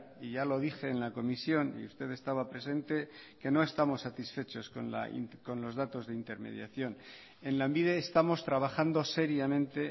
y ya lo dije en la comisión y usted estaba presente que no estamos satisfechos con los datos de intermediación en lanbide estamos trabajando seriamente